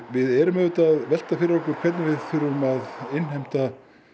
við erum auðvitað að velta fyrir okkur hvernig við innheimtum